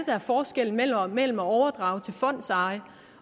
er forskellen mellem at overdrage til fondseje